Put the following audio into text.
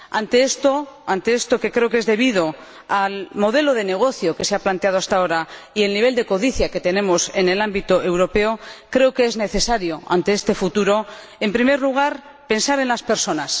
Ante esto, que creo que es debido al modelo de negocio que se ha planteado hasta ahora y al nivel de codicia que tenemos en el ámbito europeo, creo que es necesario, ante este futuro, en primer lugar, pensar en las personas